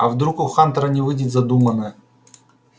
а вдруг у хантера не выйдет задуманное